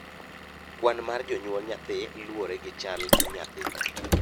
kwan mar jonyuol nyathi loure gi chal nyathi